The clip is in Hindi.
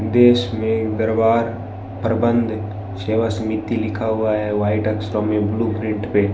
देश में दरबार प्रबंध सेवा समिति लिखा हुआ है वाइट अक्षरो में ब्लू प्रिंट पे।